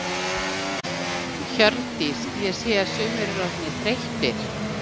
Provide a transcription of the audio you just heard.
Hjördís: Ég sé að sumir eru orðnir þreyttir?